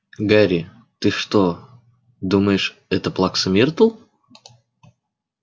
гарри ты что думаешь это плакса миртл